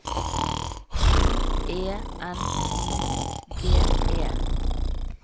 U E N I G E